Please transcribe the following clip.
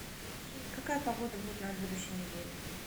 какая погода будет на будущей неделе